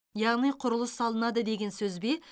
яғни құрылыс салынады деген сөз бе